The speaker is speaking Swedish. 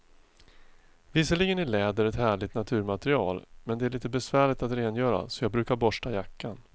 Visserligen är läder ett härligt naturmaterial, men det är lite besvärligt att rengöra, så jag brukar borsta jackan.